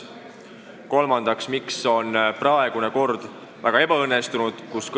Kolmandaks: miks on praegune kord nii ebaõnnestunud?